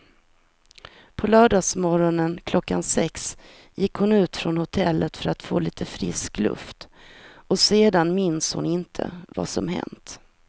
På lördagsmorgonen klockan sex gick hon ut från hotellet för att få lite frisk luft och sen minns hon inte vad som hänt.